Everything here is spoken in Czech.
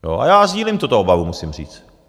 A já sdílím tuto obavu, musím říct.